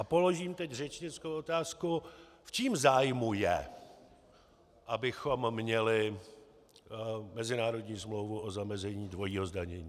A položím teď řečnickou otázku: V čím zájmu je, abychom měli mezinárodní smlouvu o zamezení dvojího zdanění?